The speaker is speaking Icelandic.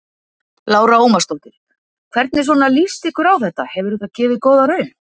Lára Ómarsdóttir: Hvernig svona líst ykkur á þetta, hefur þetta gefið góða raun?